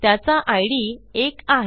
त्याचा इद 1 आहे